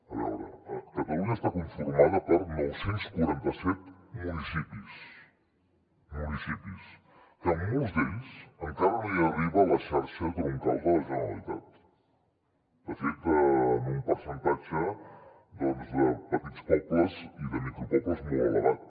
a veure catalunya està conformada per nou cents i quaranta set municipis que a molts d’ells encara no hi arriba la xarxa troncal de la generalitat de fet en un percentatge de petits pobles i de micropobles molt elevat